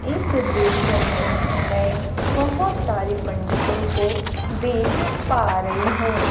इस दृश्य में मैं बहोत सारी पंडितों को देख पा रही हूं।